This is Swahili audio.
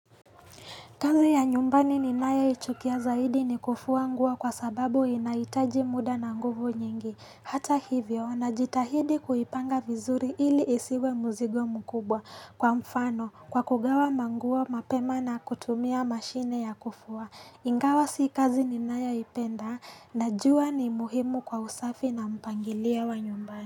Kazi ya nyumbani ninayo ichukia zaidi ni kufuwa nguo kwa sababu inahitaji muda na nguvu nyingi Hata hivyo najitahidi kuipanga vizuri ili isiwe mzigo mkubwa kwa mfano kwa kugawa manguo mapema na kutumia mashine ya kufua Ingawa si kazi ninayo ipenda najua ni muhimu kwa usafi na mpangilia wa nyumbani.